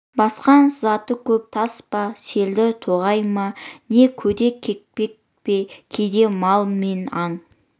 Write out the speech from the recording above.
басқан сызаты көп тас па селдір тоғай ма не көде-кекпек пе кейде мал мен аң